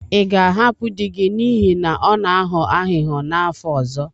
Ị ga-ahapụ di gị n'ihi na ọ na-aghọ aghụghọ n'afọ ọzọ?